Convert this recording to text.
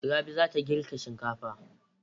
Rabi za ta girka shinkafa.